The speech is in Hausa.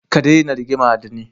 Ka daina rigima da ni.